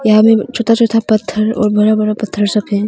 यहां में छोटा छोटा पत्थर और बड़ा बड़ा पत्थर सब है।